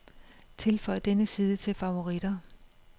Tilføj denne side til favoritter.